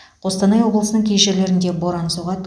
қостанай облысының кей жерлерінде боран соғады